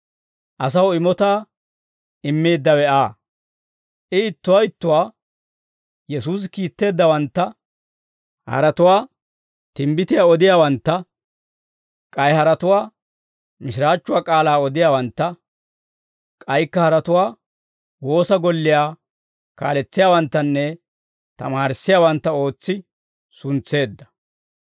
Asaw imotaa immeeddawe Aa; I ittuwaa ittuwaa Yesuusi kiitteeddawantta, haratuwaa timbbitiyaa odiyaawantta, k'ay haratuwaa mishiraachchuwaa k'aalaa odiyaawantta, k'aykka haratuwaa woosa golliyaa kaaletsiyaawanttanne tamaarissiyaawantta ootsi suntseedda.